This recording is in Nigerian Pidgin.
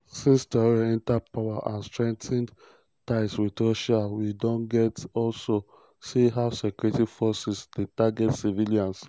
since traoré enta power and strengthened ties wit russia we don also see how security forces dey target civilians.